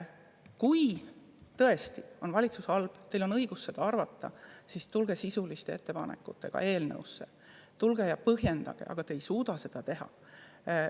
Kui tõesti on valitsus halb – teil on õigus nii arvata –, siis tulge sisuliste ettepanekutega, tulge ja põhjendage, aga te ei suuda seda teha.